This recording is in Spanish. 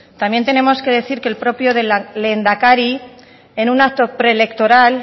también tenemos que decir que el propio lehendakari en un acto preelectoral